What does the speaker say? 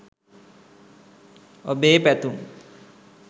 ඔබේ පැතුම්